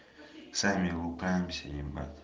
сами управимся ебать